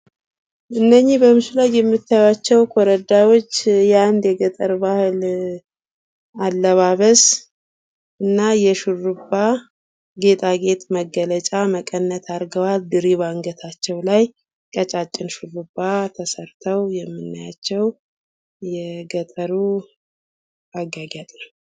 እነኝግ በምስሉ ላይ የምታይቸው ኮረዳዎች የእንድ የገጠር ባህል አላባበስ እና የሹርባ ጌጣጌጥ መገለጫ አድርገዋል። ድሪ ባንገታቸው ላይ አድርገው የምናያቸው የገጠሩ አጌያጌጥ ነው።